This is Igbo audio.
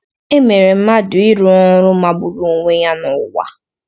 E mere mmadụ ịrụ ọrụ magburu onwe ya n'ụwa.